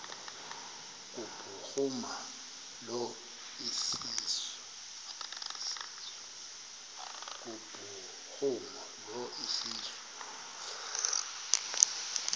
kubhuruma lo iseso